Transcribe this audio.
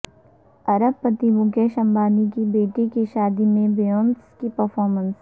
ارب پتی مکیش امبانی کی بیٹی کی شادی میں بیونسے کی پرفارمنس